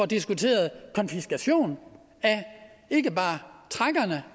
diskuterer konfiskation af ikke bare trækkerne